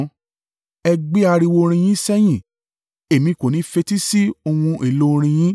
Ẹ gbé ariwo orin yín sẹ́yìn! Èmi kò ní fetísí ohun èlò orin yín.